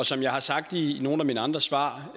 som jeg har sagt i nogle af mine andre svar